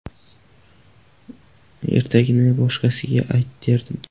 Ertagingni boshqasiga ayt derdim.